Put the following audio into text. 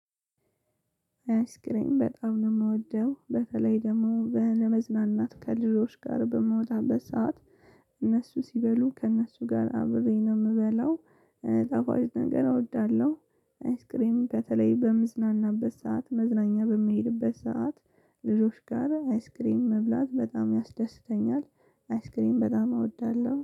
አይስክሬም በጣም ነው ምወደው በተለይ ደግሞ በ ለመዝናናት ከልጆች ጋር በምውጣበት ሰዓት እነሱ ሲበሉ ከእነሱ ጋር አብሬ ነው ምበለው ቋይ ጣፋጭ ነገር እወዳለሁ። አይስክሬም በተለይ በምዝናናበት ሰዓት መዝናኛ በምሄድበት ሰዓት ልጆች ጋር አይስክሬም መብላት በጣም ያስደስተኛል። አይስክሬም በጣም እወዳለሁ